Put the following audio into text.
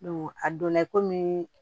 a donna i komi